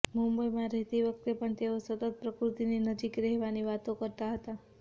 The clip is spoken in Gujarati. મુંબઈમાં રહેતી વખતે પણ તેઓ સતત પ્રકૃતિની નજીક રહેવાની વાતો કરતા હતા